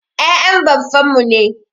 Ya'yan baffan mu ne.